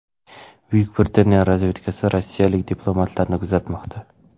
Buyuk Britaniya razvedkasi rossiyalik diplomatlarni kuzatmoqda.